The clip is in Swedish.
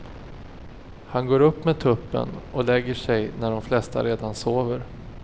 Han går upp med tuppen och lägger sig när de flesta redan sover.